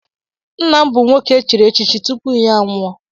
Nna m bụ nwoke echiri echichi tupu ya a nwụọ.